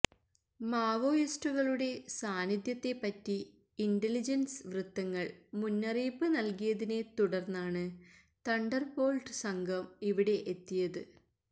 മാവോയിസ്റ്റുകളുടെ സാന്നിധ്യത്തെപ്പറ്റി ഇന്റലിജന്സ് വൃത്തങ്ങള് മുന്നറിയിപ്പ് നല്കിയതിനെ തുടര്ന്നാണ് തണ്ടര്ബോള്ട്ട് സംഘം ഇവിടെയെത്തിയത്